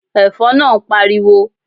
Ẹ̀fọn naa ń pariwo